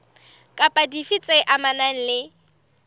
kapa dife tse amanang le